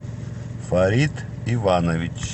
фарид иванович